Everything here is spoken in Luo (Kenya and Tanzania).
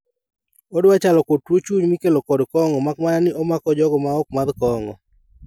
Odwa chalo kod tuo chuny mikelo kod kong`o makmana ni omako jogo maok madh kong`o.